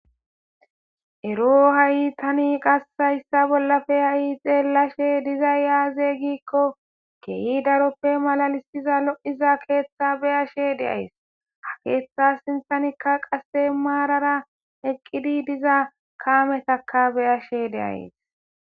Ero ha'ytani qassayssa bollafe ha'i xeellashe dizay yaaze giikko keeyi daroppe malalissiza lo'iza keeththa beyashe deays ha keeththa sinthanikka qasse maarara eqqidi diza kaametakka beyashe deaes.